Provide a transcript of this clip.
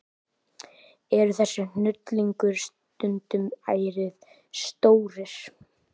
Eru þessir hnullungar stundum ærið stórir.